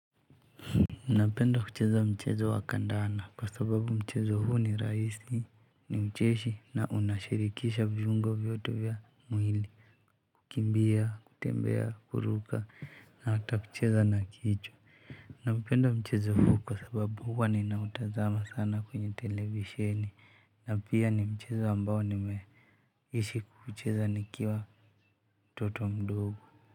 Napenda kucheza mchezo wa kandanda kwa sababu mchezo huu ni rahisi ni mcheshi na unashirikisha vyungo vyote vya mwili. Kukimbia kutembea kuruka na hata kucheza na kichwa. Napenda mchezo huu kwa sababu huwa nina utazama sana kwenye televisheni na pia ni mchezo ambao nimeishi kuicheza nikiwa mtoto mdogo.